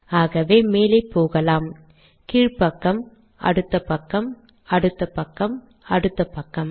ஆகவே மேலே போகலாம் கீழ் பக்கம் அடுத்த பக்கம் அடுத்த பக்கம் அடுத்த பக்கம்